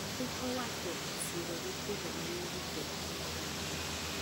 Piny owacho osiro nyithindo manyiri kod taulo mag ria